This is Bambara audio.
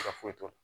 foyi t'o la